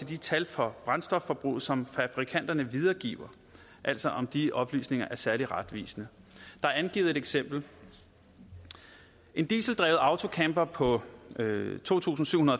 de tal for brændstofforbruget som fabrikanterne videregiver altså de oplysninger særlig retvisende der er angivet et eksempel en dieseldrevet autocamper på to tusind syv